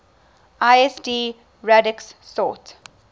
lsd radix sort